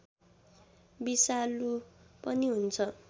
बिषालु पनि हुन्छ